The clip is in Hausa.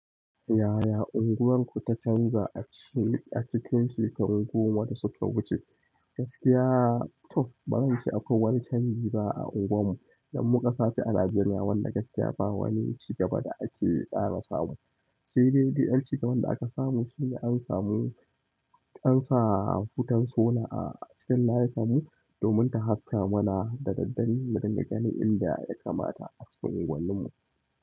Yaya unguwarku ta canza a cikin shekaru goma da suka wuce? Gaskiya to, ba zan ce akwai wani canji ba a unguwarmu. Dan mu ƙasa nan a Nigeria, wanda gaskiya ba wani cigaba da ake ƙara samu. Sai dai ƴan cigaban da aka samu sune an samu, an sa hutun sola a cikin layinmu domin ta haska mana da daddare, mu dinga gani inda ya kamata a cikin unguwarmu.